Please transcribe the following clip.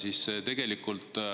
Aitäh!